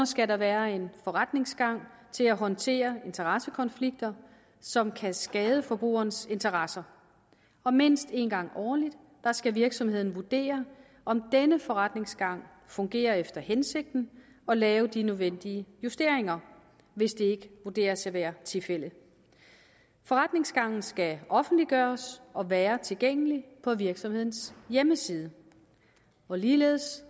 skal være en forretningsgang til at håndtere interessekonflikter som kan skade forbrugerens interesser og mindst en gang årligt skal virksomheden vurdere om denne forretningsgang fungerer efter hensigten og lave de nødvendige justeringer hvis det ikke vurderes at være tilfældet forretningsgangen skal offentliggøres og være tilgængelig på virksomhedens hjemmeside ligeledes